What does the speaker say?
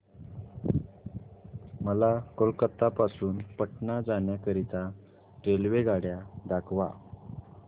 मला कोलकता पासून पटणा जाण्या करीता रेल्वेगाड्या दाखवा